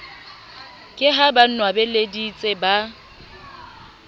ke ha ba nwabeleditse ba